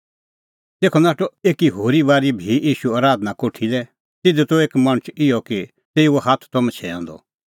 तेखअ नाठअ भी ईशू आराधना कोठी लै तिधी त एक मणछ इहअ कि तेऊओ हाथ त मछैंअ द